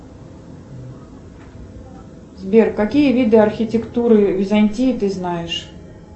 сбер какие виды архитектуры византии ты знаешь